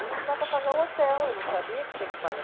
não dá para pagar o hotel, eu não sabia que tinha que pagar.